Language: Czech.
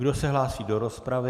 Kdo se hlásí do rozpravy?